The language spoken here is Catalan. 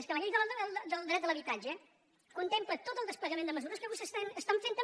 és que la llei del dret a l’habitatge contempla tot el desplegament de mesures que vostès estan fent també